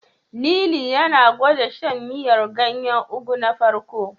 Lili yana gwanda shan miyar ganyen Ugu na farko.